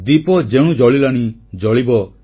ଦୀପ ଯେଣୁ ଜଳିଲାଣି ଜଳିବ